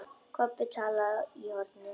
Kobbi talaði í hornið.